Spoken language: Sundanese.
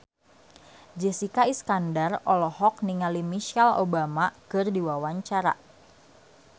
Jessica Iskandar olohok ningali Michelle Obama keur diwawancara